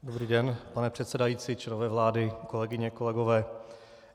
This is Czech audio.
Dobrý den, pane předsedající, členové vlády, kolegyně, kolegové.